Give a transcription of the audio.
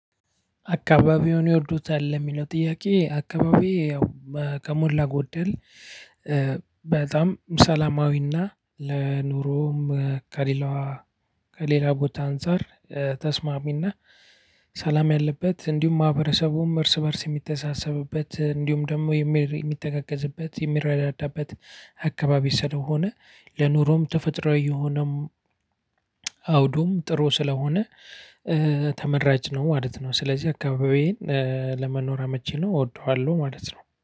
አካባቢዎን ይወዱታል ለሚለው ጥያቄ? አካባቢየ ያው ከሞላ ጎደል። በጣም ሰላማዊና ለኑሮም ከሌላዋ ከሌላ ቦታ አንፃር ተስማሚና ሰላም ያለበት እንዲሁም ማህበረሰቡም እርስ በእርስ የሚተሳሰብበት እንዲሁም ደግሞ የሚተጋገዝበት የሚረዳዳበት። አካባቢ ስለሆነ። ለኑሮም ተፈጥሮዊ የሆነም። አውዱም ጥሩ ስለሆነ ተመራጭ ነው ማለት ነው። ስለዚህ አካባቢዬን ለመኖር አመቺ ነው እወደዋለሁ። ማለት ነው